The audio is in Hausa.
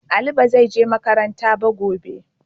Ali ba zai je makaranta ba gobe.